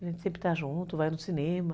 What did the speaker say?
A gente sempre está junta, vai no cinema.